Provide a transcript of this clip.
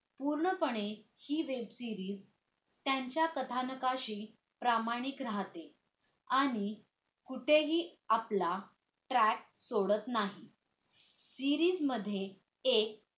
पूर्णपणे हि web series त्यांच्या कथानकाशी प्रामाणिक राहते आणि कुठेही आपला त्रात सोडत नाही series मध्ये एक